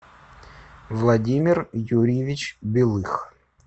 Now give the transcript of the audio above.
владимир юрьевич белых